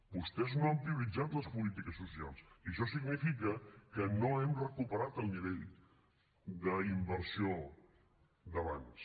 vostès no han prioritzat les polítiques socials i això significa que no hem recuperat el nivell d’inversió d’abans